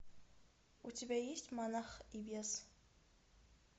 у тебя есть монах и бес